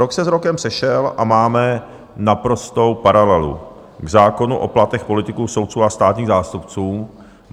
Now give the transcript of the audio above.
Rok se s rokem sešel a máme naprostou paralelu k zákonu o platech politiků, soudců a státních zástupců.